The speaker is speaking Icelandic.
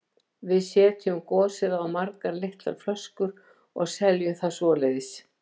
Við setjum gosið á margar litlar flöskur og seljum það svoleiðis.